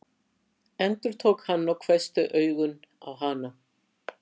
endurtók hann og hvessti augun á hana.